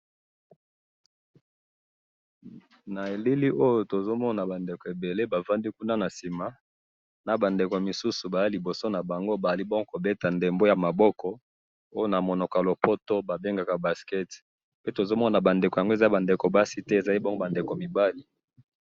Na elili oyo tozomona bandako ebele bavandi kuna nasima, nabandeko misusu Baza liboso nabango bazali bongo kobeta dembo yamaboko oyo namunoko yalopoto babengaka baskets, pe tozomona bandeko yango eza bandeko basite, ezali bongo bandeko mibali